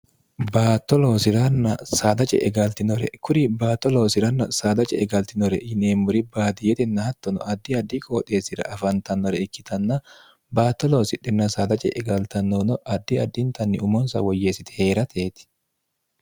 baatto loosiranna saada ce'e galtinore kuri baato loosi'ranna saada ce'e galtinore yineemmuri baadiyetenna hattono addi addi qooxeessira afantannore ikkitanna baatto loosidhinna saada ce'e gaaltannoonno addi addintanni umoonsa woyyeessiti heerateeti